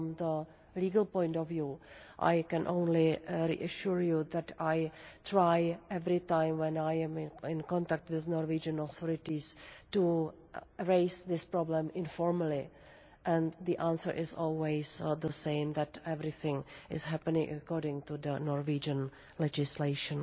From the legal point of view, I can only assure you that I try every time when I am contact with the regional authorities to raise this problem informally, and the answer is always the same that everything is happening according to Norwegian legislation.